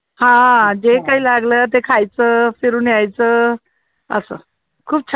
हा जे काही लागलं ते खायचं, फिरून यायचं. असं, खूप छान वाटायचं